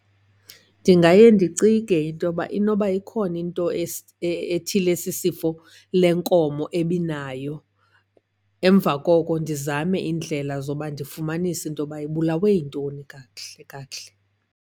Ndingaye ndicinge into yoba inoba ikhona into ethile esisifo le nkomo ebinayo. Emva koko ndizame iindlela zoba ndifumanise into yoba ibulawe yintoni kakuhle kakuhle.